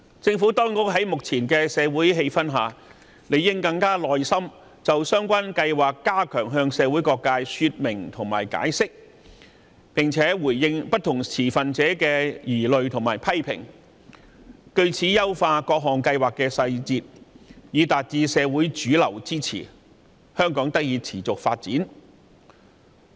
在目前的社會氣氛下，政府當局應當更有耐心，就相關計劃向社會各界加強說明及解釋，並且回應不同持份者的疑慮和批評，藉此優化各項計劃的細節，爭取社會主流的支持，香港才可持續發展。